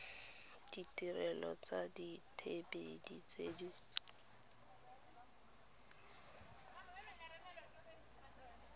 ditirelo tsa dithibedi tse di